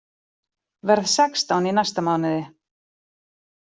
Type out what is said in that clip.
Verð sextán í næsta mánuði.